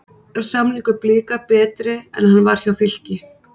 Er samningur Blika betri en hann var hjá Fylki?